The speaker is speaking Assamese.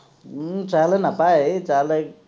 উম ছেহেলে নাপায় ছেহেলে